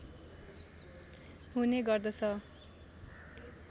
हुने गर्दछ